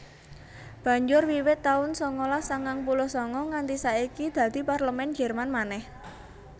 Banjur wiwit taun sangalas sangang puluh sanga nganti saiki dadi Parlemèn Jèrman manèh